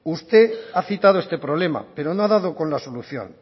usted ha citado este problema pero no ha dado con la solución